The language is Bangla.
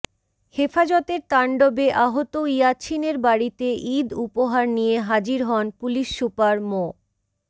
হেফাজতের তাণ্ডবে আহত ইয়াছিনের বাড়িতে ঈদ উপহার নিয়ে হাজির হন পুলিশ সুপার মো